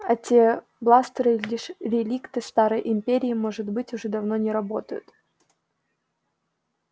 а те бластеры лишь реликты старой империи и может быть уже давно не работают